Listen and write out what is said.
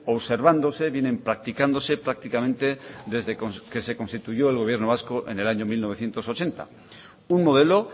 observándose vienen practicándose prácticamente desde que se constituyó el gobierno vasco en el año mil novecientos ochenta un modelo